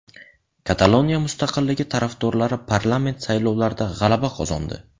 Kataloniya mustaqilligi tarafdorlari parlament saylovlarida g‘alaba qozondi.